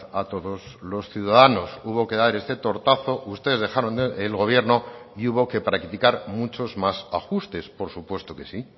a todos los ciudadanos hubo que dar este tortazo ustedes dejaron el gobierno y hubo que practicar muchos más ajustes por supuesto que sí